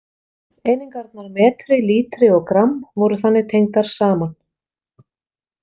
Einingarnar metri, lítri og gramm voru þannig tengdar saman.